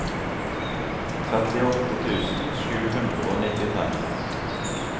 trettiåtte tusen sju hundre og nittitre